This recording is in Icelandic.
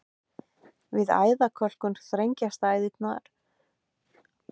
Við æðakölkun þrengjast æðarnar og minna magn blóðs kemst til vefjanna.